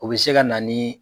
O bɛ se ka na ni